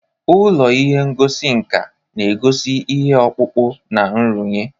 Ụlọ ihe ngosi nka na-egosi ihe ọkpụkpụ na nrụnye.